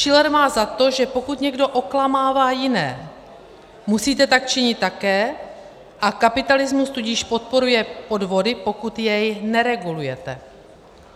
Shiller má za to, že: "Pokud někdo oklamává jiné, musíte tak činit také, a kapitalismus tudíž podporuje podvody, pokud jej neregulujete.